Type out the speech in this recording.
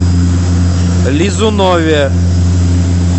лизунове